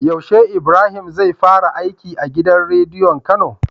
Yaushe Ibrahim zai fara aiki a gidan rediyon kano?